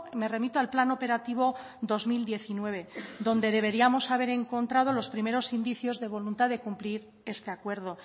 me remito al plan operativo dos mil diecinueve donde deberíamos haber encontrado los primeros indicios de voluntad de cumplir este acuerdo